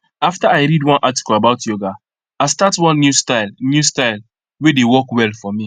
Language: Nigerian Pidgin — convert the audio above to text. after i read one article about yoga i start one new style new style wey dey work well for me